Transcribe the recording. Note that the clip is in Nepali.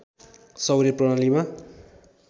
सौर्य प्रणालीमा